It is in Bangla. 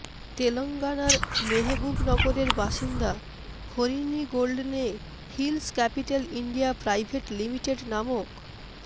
তেলঙ্গানার মেহেবুবনগরের বাসিন্দা Harini Golden Hills Capital India Private Limited নামক